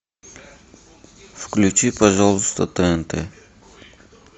включи пожалуйста тнт